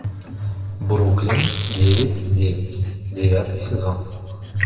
бруклин девять девять девятый сезон